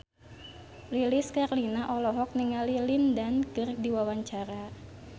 Lilis Karlina olohok ningali Lin Dan keur diwawancara